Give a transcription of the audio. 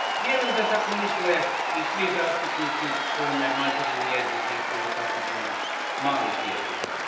Vjerujem da tako misle i svi zastupnici kojima je materinji jezik jedan od takozvanih malih jezika.